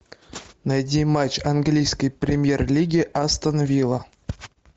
найди матч английской премьер лиги астон вилла